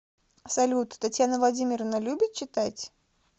салют татьяна владимировна любит читать